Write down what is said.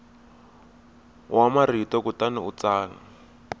wa marito kutani u tsala